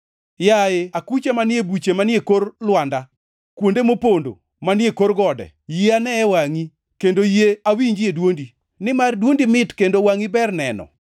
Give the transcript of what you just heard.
Yaye akucha manie buche manie kor lwanda; kuonde mopondo manie kor gode, yie aneye wangʼi, kendo yie awinjie dwondi; nimar dwondi mit, kendo wangʼi ber neno.